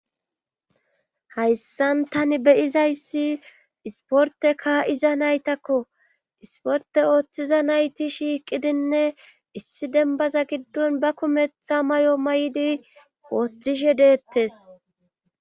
Hayssan tani be7izayssi isppoette kaa7iza naytakko ispportte oothiza nayti shiiqidinne issi dembbaza giddon ba kumetha mayo mayidi oothishe deettees.